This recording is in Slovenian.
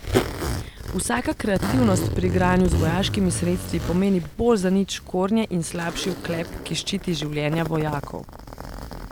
Vsaka kreativnost pri igranju z vojaškimi sredstvi pomeni bolj zanič škornje in slabši oklep, ki ščiti življenja vojakov.